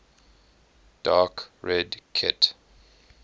dark red kit